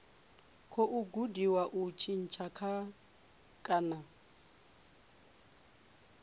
khou gudiwa u tshintsha kana